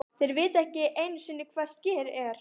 Þeir vita ekki einusinni hvað Skyr ER?!